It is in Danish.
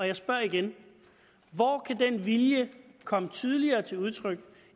jeg spørger igen hvor kan den vilje komme tydeligere til udtryk